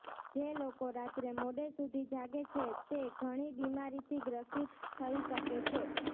જે લોકો રાત્રે મોડે સુધી જાગે છે તે ઘણી બીમારીથી ગ્રસિત થઇ શકે છે